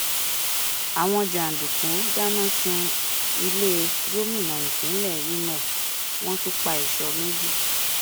àwọn jàǹdùkú dáná sun ilé gómìnà ìpínlẹ ìmọ wọn tún pa ẹṣọ méjì